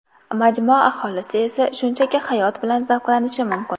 Majmua aholisi esa shunchaki hayot bilan zavqlanishi mumkin.